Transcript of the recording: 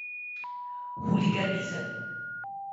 Huliganizem?